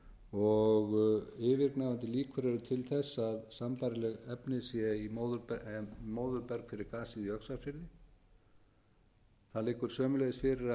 og yfirgnæfandi líkur eru til þess að sambærileg efni séu móðurberg fyrir gasið í öxarfirði það liggur sömuleiðis fyrir